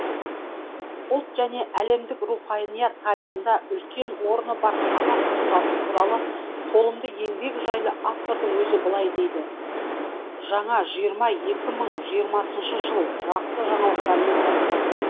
ұлт және әлемдік руханият тарихында үлкен орны бар қазақ тұлғасы туралы толымды еңбек жайлы автордың өзі былай дейді жаңа жиырма екі мың жиырмасыншы жыл жақсы жаңалықтармен басталды